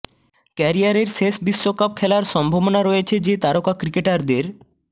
ক্যারিয়ারের শেষ বিশ্বকাপ খেলার সম্ভাবনা রয়েছে যে তারকা ক্রিকেটারদের